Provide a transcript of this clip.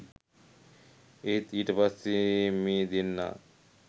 ඒත් ඊට පස්සේ මේ දෙන්නා